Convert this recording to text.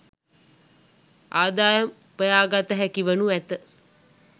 ආදායම් උපයාගත හැකිවනු ඇත.